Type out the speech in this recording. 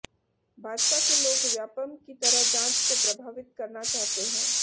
भाजपा के लोग व्यापमं की तरह जांच को प्रभावित करना चाहते हैं